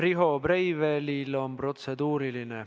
Riho Breivelil on protseduuriline.